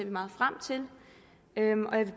at nå frem til